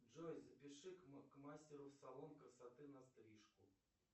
джой запиши к мастеру в салон красоты на стрижку